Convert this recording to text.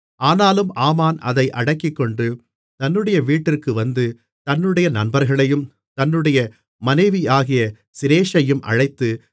ஆனாலும் ஆமான் அதை அடக்கிக்கொண்டு தன்னுடைய வீட்டிற்கு வந்து தன்னுடைய நண்பர்களையும் தன்னுடைய மனைவியாகிய சிரேஷையும் அழைத்து